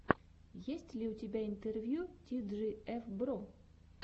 есть ли у тебя интервью ти джи эф бро